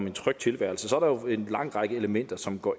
en tryg tilværelse så er der jo en lang række elementer som indgår